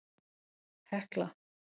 Hekla